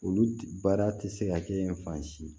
Olu baara tɛ se ka kɛ fan si